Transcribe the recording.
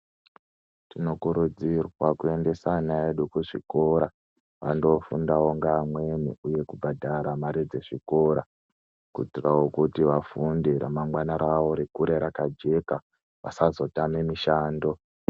Tinokurudzirwa kuendesa ana edu kuchikora, vandofundawo ngeamweni, uye kubhadhara mare dzezvikora, kuitirawo kuti ramangwana ravo rikure rakajeka, vasazotame mishando.